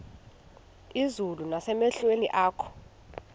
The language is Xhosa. izulu nasemehlweni akho